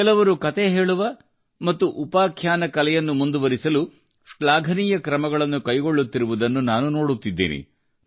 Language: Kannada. ಕೆಲವರು ಕತೆ ಹೇಳುವ ಕಲೆಯನ್ನು ಮುಂದುವರಿಸಲು ಶಾಘನೀಯ ಕ್ರಮಗಳನ್ನು ಕೈಗೊಳ್ಳುತ್ತಿರುವುದನ್ನು ನಾನು ನೋಡುತ್ತಿದ್ದೇನೆ